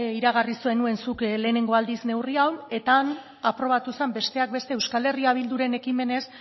iragarri zenuen zuk lehenengo aldiz neurri hau eta han aprobatu zen besteak beste euskal herria bilduren ekimenez